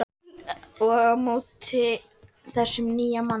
Og á móti þessum nýja manni.